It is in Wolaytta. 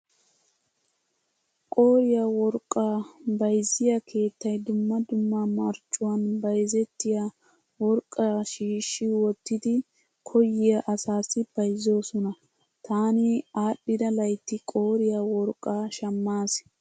Qooriya worqqaa bayzziyaa keettay dumma dumma marccuwaan bayzzettiyaa worqqaa shiishshi wottidi koyyiyaa asaassi bayzzoosona. Taani aadhdhida laytti qooriya worqqaa shammaas.